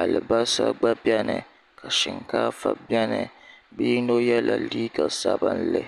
alibarisa gba beni ka shinkaafa beni bi' yino yela liiga sabinli.